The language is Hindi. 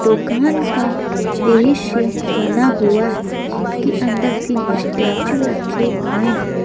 दुकान का दृश्य बना हुआ है जिनके अंदर तीन स्टैचू रखे हुए हैं।